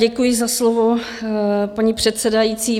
Děkuji za slovo, paní předsedající.